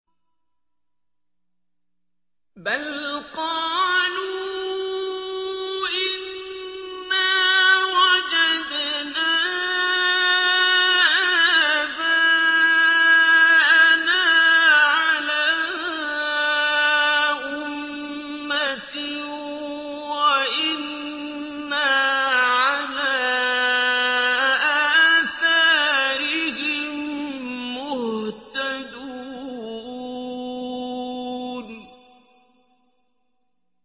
بَلْ قَالُوا إِنَّا وَجَدْنَا آبَاءَنَا عَلَىٰ أُمَّةٍ وَإِنَّا عَلَىٰ آثَارِهِم مُّهْتَدُونَ